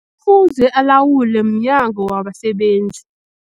Fuze alawulwe mNyango wabaSebenzi.